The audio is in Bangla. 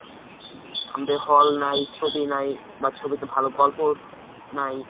আমাদের hall নাই, ছবি নাই বা ছবিতে ভাল গল্প নাই